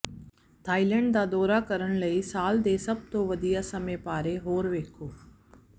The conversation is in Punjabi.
ਥਾਈਲੈਂਡ ਦਾ ਦੌਰਾ ਕਰਨ ਲਈ ਸਾਲ ਦੇ ਸਭ ਤੋਂ ਵਧੀਆ ਸਮੇਂ ਬਾਰੇ ਹੋਰ ਵੇਖੋ